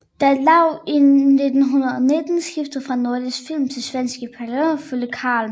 Da Lau i 1919 skiftede fra Nordisk Film til svenskejede Palladium fulgte Carl med